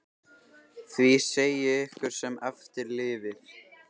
Því segi ég ykkur sem eftir lifið.